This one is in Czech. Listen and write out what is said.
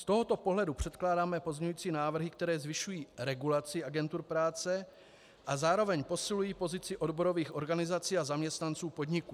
Z tohoto pohledu předkládáme pozměňující návrhy, které zvyšují regulaci agentur práce a zároveň posilují pozici odborových organizací a zaměstnanců podniků.